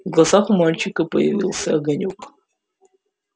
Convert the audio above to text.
в глазах у мальчика появился огонёк